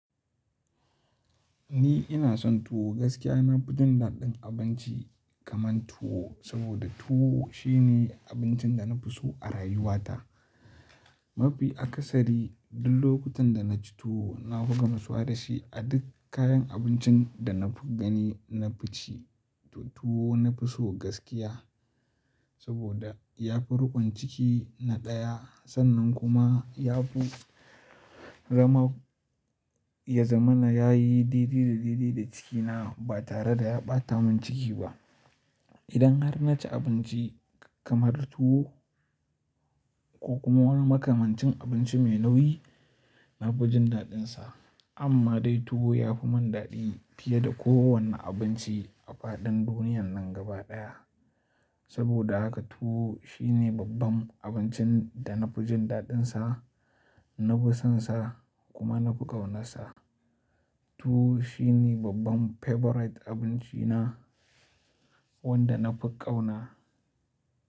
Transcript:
Ni ina son tuwo gaskiya. Na fi jin daɗin abinci kaman tuwo saboda tuwo shine abincin da na fi so a rayuwata. Mafi akasari duk lokutan da na ci tuwo na buga maswa da shi a duk kayan abincin da na fi gani na fi ci. To tuwo na fi so gaskiya saboda ya fi riƙon ciki na ɗaya sannan kuma ya fi rama ya zamana. Ya yi didi da didi da cikina ba tare da ya ɓata min ciki ba. Idan har na ci abinci kamar tuwo ko kuma wani makamancin abinci mai nauyi, na fi jin daɗinsa. Amma dai tuwo ya fi mun daɗi fiye da kowane abinci a faɗin duniyan nan gaba ɗaya. Saboda haka tuwo shine babban abincin da na fi jin daɗinsa, na fi sonsa kuma na fi ƙaunarsa. Tuwo shine babban favorite abinci na wanda na fi ƙauna.